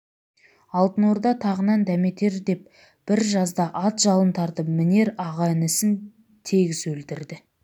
алтын орда тағынан дәметер деп бір жазда ат жалын тартып мінер аға-інісін тегіс өлтірді